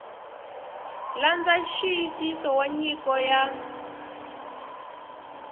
landza nxiyisiso wa nyiko ya